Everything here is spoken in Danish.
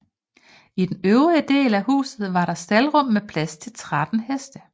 I den øvrige del af huset var der staldrum med plads til 13 heste